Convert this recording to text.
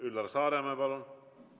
Üllar Saaremäe, palun!